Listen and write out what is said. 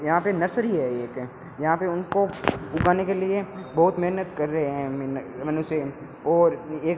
यहां पे नर्सरी है एक यहां पे उनको उगाने के लिए बहुत मेहनत कर रहे हैं मन मनुष्य और एक --